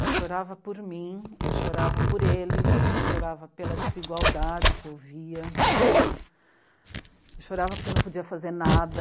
Eu chorava por mim, eu chorava por eles, eu chorava pela desigualdade que eu via né, chorava porque eu não podia fazer nada.